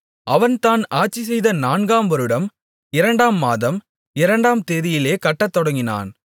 அவன் தான் ஆட்சிசெய்த நான்காம் வருடம் இரண்டாம் மாதம் இரண்டாம் தேதியிலே கட்டத்தொடங்கினான்